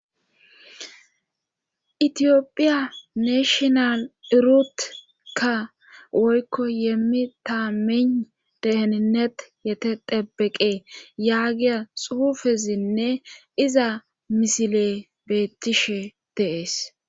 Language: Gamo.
itiyophiya neeshional irutkka woykko yeemmi ta min deheninnet yete debeqe yaagiya xuufezinne iza misile beettishe deees